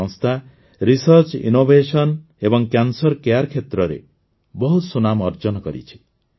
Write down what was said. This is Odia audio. ଏହି ସଂସ୍ଥା ରିସର୍ଚ୍ଚ ଇନୋଭେସନ ଏବଂ କ୍ୟାନ୍ସର କେୟାର କ୍ଷେତ୍ରରେ ବହୁତ ସୁନାମ ଅର୍ଜନ କରିଛି